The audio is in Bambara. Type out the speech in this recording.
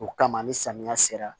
O kama ni samiya sera